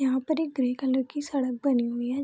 यहाँ पर एक ग्रे कलर की सड़क बनी हुई है।